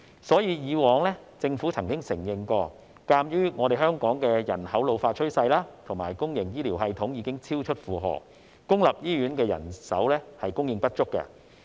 所以，以往政府曾承認，鑒於香港人口老化趨勢和公營醫療系統已經超出負荷，公營醫院的人手供應不足。